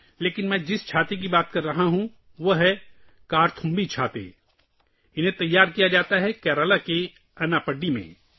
لیکن میں جن چھتریوں کے بارے میں بات کر رہا ہوں وہ ‘کرتھمبی چھتریاں’ ہیں اور وہ اٹاپاڈی، کیرالہ میں تیار کی جاتی ہیں